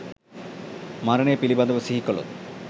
මරණය පිළිබඳව සිහි කළොත්